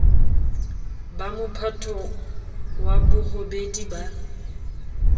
ba mophato wa borobedi ba